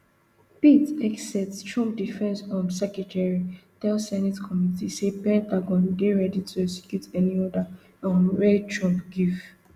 pete hegseth trump defence um secretary tell senate committee say pentagon dey ready to execute any order um wey trump give